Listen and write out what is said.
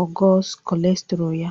ogo kọlesterọl ya.